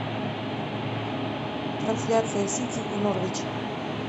трансляция сити и норвич